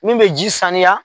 Min bɛ ji saniya.